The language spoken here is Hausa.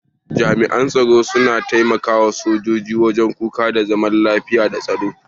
Jami'an tsaro suna taimaka sojoji wajen kuka da zaman lafiya da tsaro.